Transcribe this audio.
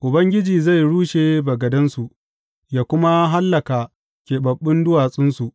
Ubangiji zai rushe bagadansu yă kuma hallaka keɓaɓɓun duwatsunsu.